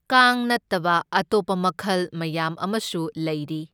ꯀꯥꯡ ꯅꯠꯇꯕ ꯑꯇꯣꯞꯄ ꯃꯈꯜ ꯃꯌꯥꯝ ꯑꯃꯁꯨ ꯂꯩꯔꯤ꯫